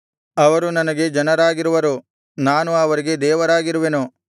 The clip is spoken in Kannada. ಅವರು ನನಗೆ ಜನರಾಗಿರುವರು ನಾನು ಅವರಿಗೆ ದೇವರಾಗಿರುವೆನು